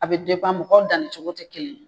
A be depan mɔgɔw danni cogo te kelen ye